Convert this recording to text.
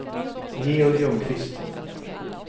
Georg Ljungqvist